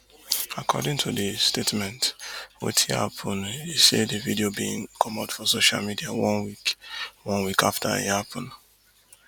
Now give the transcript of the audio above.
according to di statement wetin happun e say di video bin comot for social media one week one week afta e happun